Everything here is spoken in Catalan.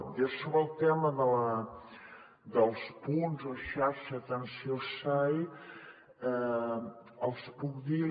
jo sobre el tema dels punts o xarxa d’atenció sai els puc dir